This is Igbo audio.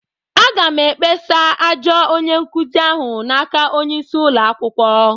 Aga m ekpesa ajọ onye-nkuzi ahụ n'aka onye-isi ụlọ akwukwo.